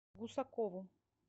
гусакову